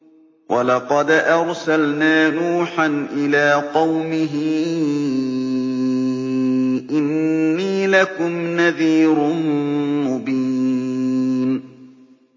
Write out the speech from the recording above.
وَلَقَدْ أَرْسَلْنَا نُوحًا إِلَىٰ قَوْمِهِ إِنِّي لَكُمْ نَذِيرٌ مُّبِينٌ